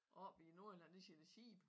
Og oppe i Nordjylland der siger de sæbe